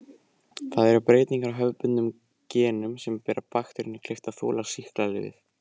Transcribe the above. Það eru breytingar á hefðbundnum genum sem gera bakteríunni kleift að þola sýklalyfið.